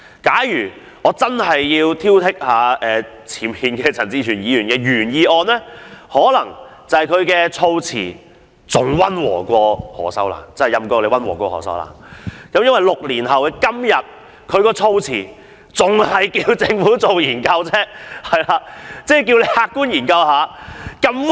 假如我要挑剔陳志全議員的原議案，我會說他的議案措辭比何秀蘭的更溫和，因為在6年後的今天，他的議案仍然只是促請政府客觀地進行研究而已。